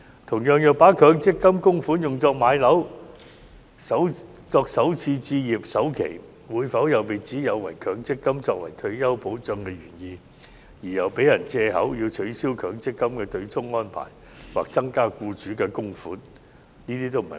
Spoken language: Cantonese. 同樣，如把強積金供款用作置業或作首次置業首期，會否又被指有違強積金作為退休保障的原意，因而予人藉口要求取消強積金對沖安排或增加僱主供款？